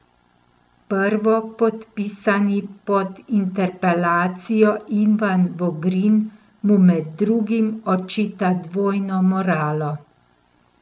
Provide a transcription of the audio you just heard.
Prvopodpisani pod interpelacijo Ivan Vogrin mu med drugim očita dvojno moralo.